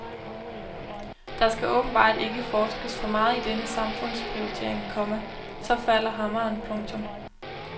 Der skal åbenbart ikke forskes for meget i denne samfundsprioritering, komma så falder hammeren. punktum